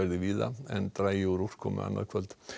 víða en dregur úr úrkomu annað kvöld